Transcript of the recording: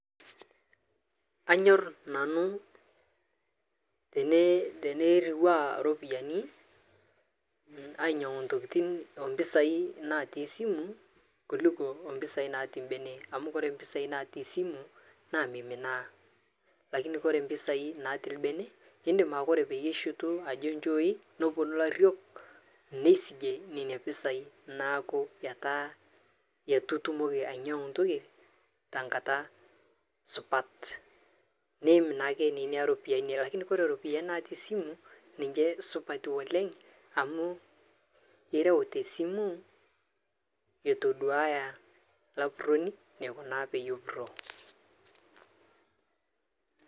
Kanyor nanu teneiruaa ropiyiani, anyang'u ntokitin ompesai natii simu kuluko ompesai natii mbene amu, kore ompesai natii simu naa meiminaa,(cs lakini cs) kore ompesai natii lbene indim kore payieitushutu ajo nchooi noponu lariok nesigie nenia pesai naaku etaa etatumoki ayang'u ntoki tangata supat, neim naake nenia ropiyiani nie lkni kore ropiyiani natii simu ninje supati oleng amu irau tesimu, etoduaya lapuroni nekunaa payie epuroo.